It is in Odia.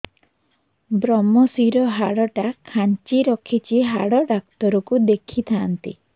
ଵ୍ରମଶିର ହାଡ଼ ଟା ଖାନ୍ଚି ରଖିଛି ହାଡ଼ ଡାକ୍ତର କୁ ଦେଖିଥାନ୍ତି